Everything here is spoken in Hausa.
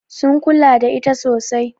Sun kula da ita sosai.